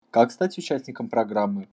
как стать участником программы